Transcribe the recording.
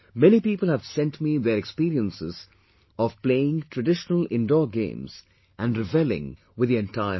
Many people have sent me their experiences of playing traditional indoor games and revelling with the entire family